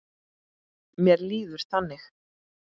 Mér líður þannig.